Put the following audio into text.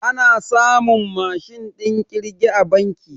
A na samun Mashin ɗin kirge a banki